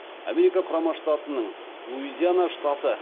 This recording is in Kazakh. америка құрама штатының луизиана штаты